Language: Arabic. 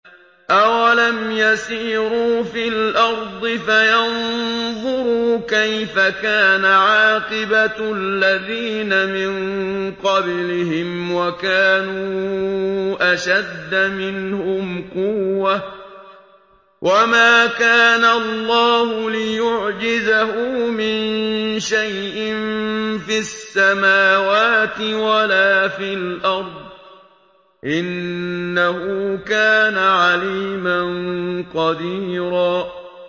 أَوَلَمْ يَسِيرُوا فِي الْأَرْضِ فَيَنظُرُوا كَيْفَ كَانَ عَاقِبَةُ الَّذِينَ مِن قَبْلِهِمْ وَكَانُوا أَشَدَّ مِنْهُمْ قُوَّةً ۚ وَمَا كَانَ اللَّهُ لِيُعْجِزَهُ مِن شَيْءٍ فِي السَّمَاوَاتِ وَلَا فِي الْأَرْضِ ۚ إِنَّهُ كَانَ عَلِيمًا قَدِيرًا